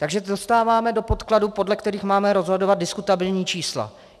Takže dostáváme do podkladů, podle kterých máme rozhodovat, diskutabilní čísla.